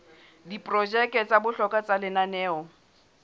diprojeke tsa bohlokwa tsa lenaneo